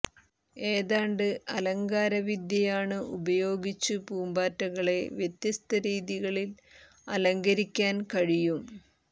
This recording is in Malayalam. ഏതാണ്ട് അലങ്കാര വിദ്യയാണ് ഉപയോഗിച്ചു പൂമ്പാറ്റകളെ വ്യത്യസ്ത രീതികളിൽ അലങ്കരിക്കാൻ കഴിയും